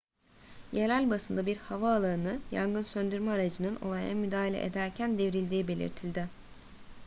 yerel basında bir havaalanı yangın söndürme aracının olaya müdahale ederken devrildiği belirtildi